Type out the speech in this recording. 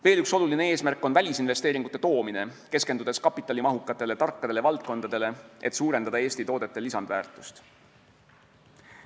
Veel üks oluline eesmärk on välisinvesteeringute toomine, keskendudes kapitalimahukatele tarkadele valdkondadele, et suurendada Eesti toodete lisandväärtust.